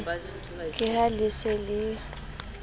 ke ha le se le